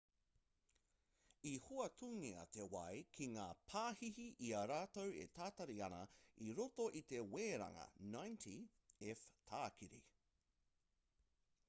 i hoatungia te wai ki ngā pāhihi i a rātou e tatari ana i roto i te weranga 90f-tākiri